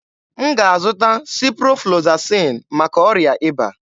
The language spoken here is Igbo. M ga-azụta Siproflozasịn maka ọrịa ịba.